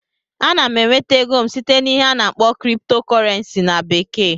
Ana m enweta ego m site n'ihe a na-akpọ "crypto currency" na bekee